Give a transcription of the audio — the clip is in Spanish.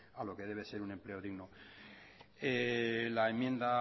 a lo que debe ser un empleo digno la enmienda